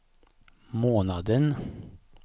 månaden